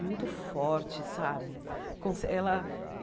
muito forte, sabe? Conse ela